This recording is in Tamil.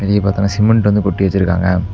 இங்க பாத்தீங்கன்னா சிமெண்ட் வந்து கொட்டி வச்சிருக்காங்க.